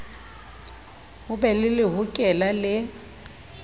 ho be le lehokela le